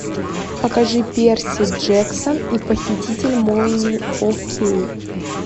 покажи перси джексон и похититель молний фор кей